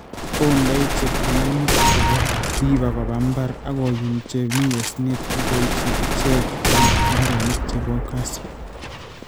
Ondoi chepkuginik che po weaver koba mbar, ak oyum che mi osnosyek, ak oipchi icheek eng' mbareenik che po kasyu.